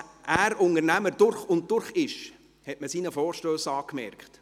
Dass er Unternehmer durch und durch ist, hat man seinen Vorstössen angemerkt.